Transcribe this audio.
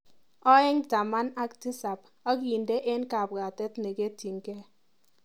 Aeng' taman ak tisap akinde eng kabwatet neketyinike.